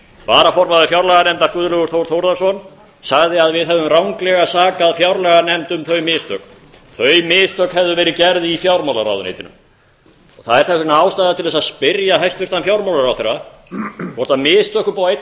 varaformaður fjárlaganefndar guðlaugur þór þórðarson sagði að við hefðum ranglega saka fjárlaganefnd um þau mistök þau mistök hefðu verið gerð í fjármálaráðuneytinu þess vegna er ástæða til að spyrja hæstvirtan fjármálaráðherra hvort mistök upp á einn